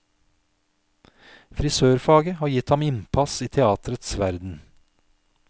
Frisørfaget har gitt ham innpass i teatrets verden.